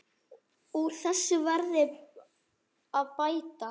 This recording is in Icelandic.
Úr þessu verði að bæta.